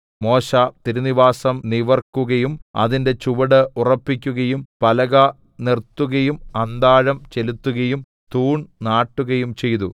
മോശെ തിരുനിവാസം നിവർക്കുകയും അതിന്റെ ചുവട് ഉറപ്പിക്കുകയും പലക നിർത്തുകയും അന്താഴം ചെലുത്തുകയും തൂൺ നാട്ടുകയും ചെയ്തു